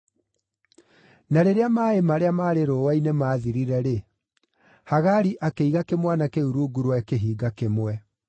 Na rĩrĩa maaĩ marĩa maarĩ rũũa-inĩ maathirire-rĩ, Hagari akĩiga kĩmwana kĩu rungu rwa kĩhinga kĩmwe.